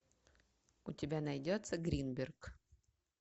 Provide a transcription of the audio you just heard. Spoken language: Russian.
у тебя найдется гринберг